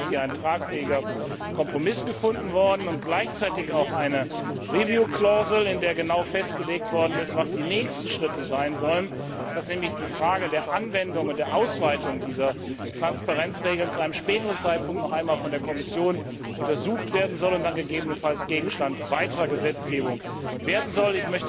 Am Ende ist hier ein tragfähiger Kompromiss gefunden worden und gleichzeitig auch eine review clause in der genau festgelegt worden ist, was die nächsten Schritte sein sollen, dass nämlich die Frage der Anwendung und der Ausweitung dieser Transparenzregeln zu einem späteren Zeitpunkt noch einmal von der Kommission untersucht werden soll und dann gegebenenfalls Gegenstand weiterer Gesetzgebung werden soll.